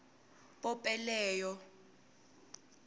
pope leo